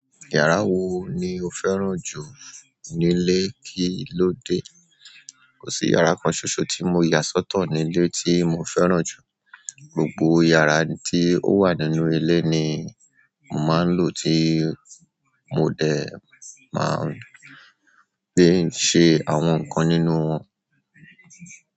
Yàrá wo ni o fẹ́ràn jù nílé kí ló dé? Kò sí yàrá kan ṣoṣo tí mo yà sọ́tọ̀ nílé tí mo fẹ́ràn jù. Gbogbo yàrá tí ó wà nínú ìle ni mo màá ń lò tí mo dẹ̀ máa ń gbé ṣẹ àwọn nǹkan nínú wọn.